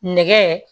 Nɛgɛ